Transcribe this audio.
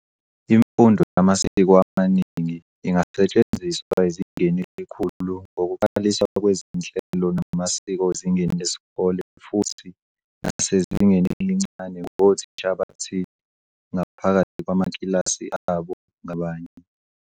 Imfundo yamasiko amaningi ingasetshenziswa ezingeni elikhulu ngokuqaliswa kwezinhlelo namasiko ezingeni lesikole futhi nasezingeni elincane ngothisha abathile ngaphakathi kwamakilasi abo ngabanye.